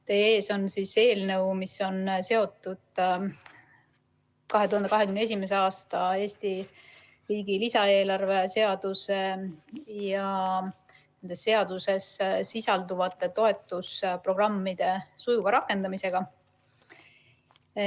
Teie ees on eelnõu, mis on seotud 2021. aasta Eesti riigi lisaeelarve seaduse ja nendes seaduses sisalduvate toetusprogrammide sujuva rakendamisega.